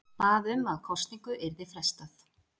Bað um að kosningu yrði frestað